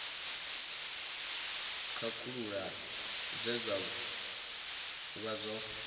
khakhulula zwe zwa vha zwo